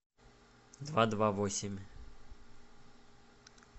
два два восемь